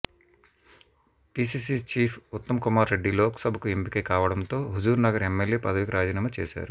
PCC chief ఉత్తమ్కుమార్రెడ్డి లోక్సభకు ఎంపిక కావడంతో హుజూర్నగర్ ఎమ్మెల్యే పదవికి రాజీనామా చేశారు